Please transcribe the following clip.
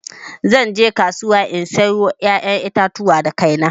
Zan je kasuwa in sayo ƴaƴan itatuwa da kaina.